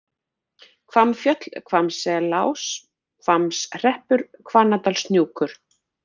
Hvammfjöll, Hvammselás, Hvammshreppur, Hvannadalshnúkur